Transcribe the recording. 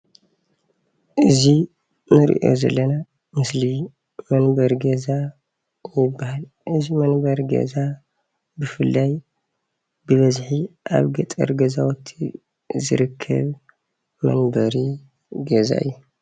እዚ እንሪኦ ዘለና ምስሊ መንበሪ ገዛ ይባሃል፡፡ እዚ መንበሪ ገዛ ብፍላይ ብበዝሒ ኣብ ገጠር ገዛውቲ ዝርከብ መንበሪ ገዛ እዩ፡፡